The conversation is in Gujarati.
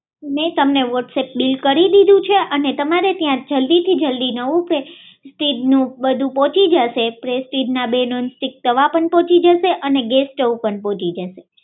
મેં તમને વોટ્સઅપ બીલ કરી દીધું છે અને તમારે ત્યારે ત્યાં જલ્દીથી જલ્દી નવું પ્રેસ્ટીજનું બધું પહોચી જશે પ્રેસ્ટીજના બે નોન સ્ટીક તવા પણ પહોચી જશે અને ગેસ સ્ટોવ પણ પહોચી જશે